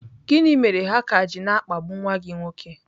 Gịnị mere ha ka ji na-akpagbu nwa gị nwoke?